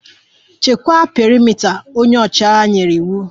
Nchekwa perimeta! Onye ọchịagha nyere iwu